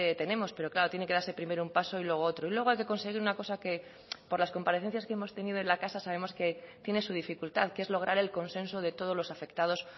tenemos pero claro tiene que darse primero un paso y luego otro y luego hay que conseguir una cosa que por las comparecencias que hemos tenido en la casa sabemos que tiene su dificultad que es lograr el consenso de todos los afectados